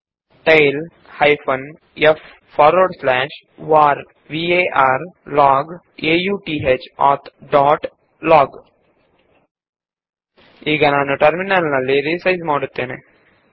tail hyphen f forward slash var log auth dot log ಈಗ ನಾನು terminal ನ್ನು ಚಿಕ್ಕದಾಗಿಸುತ್ತೇನೆ